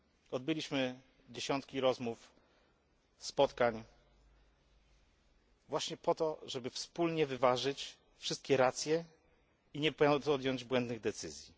Odbyliśmy dziesiątki rozmów, spotkań właśnie po to, żeby wspólnie wyważyć wszystkie racje i nie podjąć błędnych decyzji.